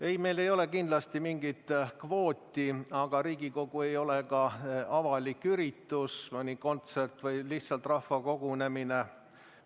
Ei, meil ei ole kindlasti mingit kvooti, aga Riigikogu ei ole ka avalik üritus, mõni kontsert või lihtsalt rahvakogunemine.